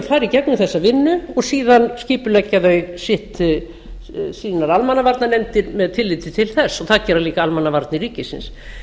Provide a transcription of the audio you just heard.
í gegnum þessa vinnu og síðan skipuleggja þau sínar almannavarnanefndir með tilliti til þess og það gera líka almannavarnir ríkisins